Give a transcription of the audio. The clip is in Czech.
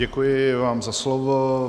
Děkuji vám za slovo.